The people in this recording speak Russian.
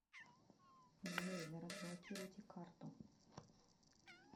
джой да разблокируйте карту